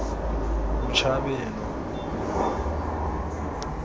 botshabelo